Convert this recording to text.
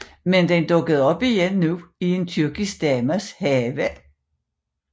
Men den dukkede op igen nu i en tyrkisk dames have